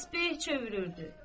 Təsbeh çevirirdi.